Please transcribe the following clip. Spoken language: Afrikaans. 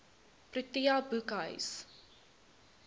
protea boekhuis